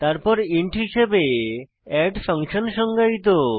তারপর ইন্ট হিসাবে add function সংজ্ঞায়িত